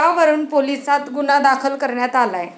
यावरून पोलिसांत गुन्हा दाखल करण्यात आलाय.